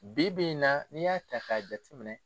Bi bi in na n'i y'a ta k'a jati minɛ